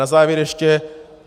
Na závěr ještě.